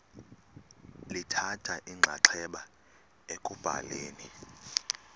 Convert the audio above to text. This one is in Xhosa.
lithatha inxaxheba ekubhaleni